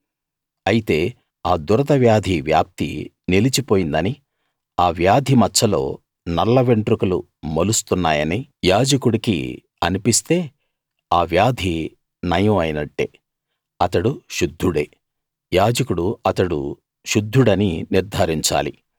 అయితే ఆ దురద వ్యాధి వ్యాప్తి నిలిచిపోయిందనీ ఆ వ్యాధి మచ్చలో నల్ల వెంట్రుకలు మొలుస్తున్నాయనీ యాజకుడికి అన్పిస్తే ఆ వ్యాధి నయం అయినట్టే అతడు శుద్ధుడే యాజకుడు అతడు శుద్ధుడని నిర్థారించాలి